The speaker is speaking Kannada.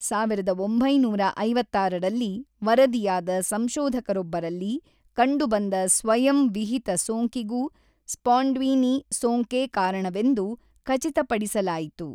ಸಾವಿರದ ಒಂಬೈನೂರ ಐವತ್ತಾರರಲ್ಲಿ ವರದಿಯಾದ ಸಂಶೋಧಕರೊಬ್ಬರಲ್ಲಿ ಕಂಡುಬಂದ ಸ್ವಯಂವಿಹಿತ ಸೋಂಕಿಗೂ ಸ್ಪಾಂಡ್ವೀನಿ ಸೋಂಕೇ ಕಾರಣವೆಂದು ಖಚಿತಪಡಿಸಲಾಯಿತು.